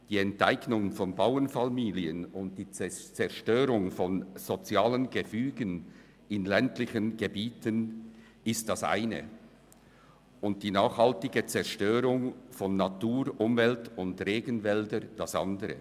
Die Enteignung von Bauernfamilien und die Zerstörung von sozialen Gefügen in ländlichen Gebieten ist das eine und die nachhaltige Zerstörung von Natur, Umwelt und Regenwäldern das andere.